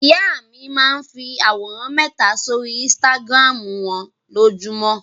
Ìyá mi máa ń fi àwòrán mẹta sórí Instagram wọn lójúmọ́.